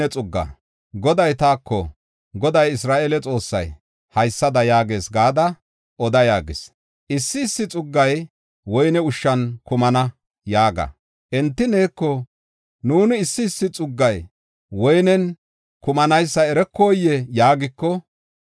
Goday taako, “Goday Isra7eele Xoossay, haysada yaagees gada oda yaagis: ‘Issi issi xuggay woyne ushshan kumana’ yaaga. Enti neeko, ‘Nuuni issi issi xuggay woynen kumanaysa erokoyee?’ yaagiko,